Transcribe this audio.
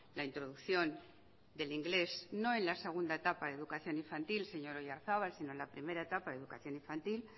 la introducción del inglés no en la segunda etapa de educación infantil señor oyarzabal sino en la primera etapa de educación infantil